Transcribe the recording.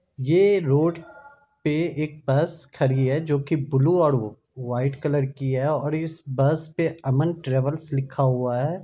ये रोड पे एक बस खड़ी है जो की ब्लू औ-और वाइट कलर की है और इस बस पे अमन ट्रेवल्स लिखा हुआ है।